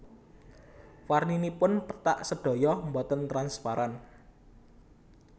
Warninipun pethak sedaya boten transparan